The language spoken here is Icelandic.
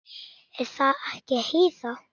Er það ekki, Heiða?